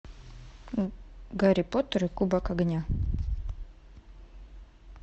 гарри поттер и кубок огня